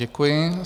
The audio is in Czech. Děkuji.